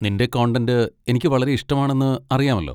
നിന്റെ കോണ്ടന്റ് എനിക്ക് വളരെ ഇഷ്ടമാണെന്ന് അറിയാമല്ലോ.